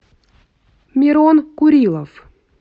мирон курилов